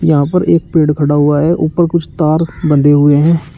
यहां पर एक पेड़ खड़ा हुआ है ऊपर कुछ तार बंधे हुए हैं।